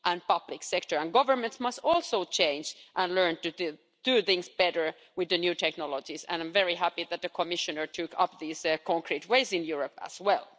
Public sector and governments must also change and learn to do things better with the new technologies, and I'm very happy that the Commissioner took up these concrete ways in Europe as well.